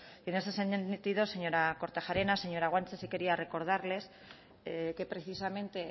y en ese sentido señora kortajarena señora guanche sí quería recordarles que precisamente